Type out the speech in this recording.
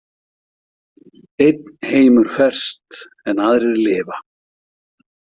Einn heimur ferst en aðrir lifa.